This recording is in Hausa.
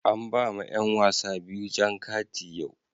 An ba ma yan wasa biyu jan kati yau.